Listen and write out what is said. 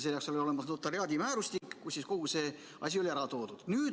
Selle jaoks oli olemas notariaadimäärustik, kus kogu see asi oli ära toodud.